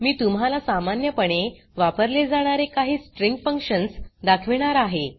मी तुम्हाला सामान्यपणे वापरले जाणारे काही स्ट्रिंग फंक्शन्स दाखवीणार आहे